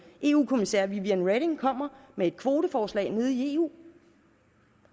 eu kommissær viviane reding kommer med et kvoteforslag nede i eu